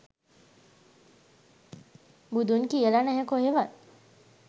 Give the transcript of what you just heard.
බුදුන් කියලා නැහැ කොහෙවත්